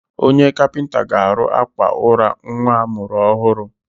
Onye kapịnta ga-arụ àkwà ụra nwa a mụrụ ọhụrụ.